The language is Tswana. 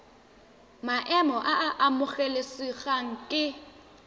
maemo a a amogelesegang ke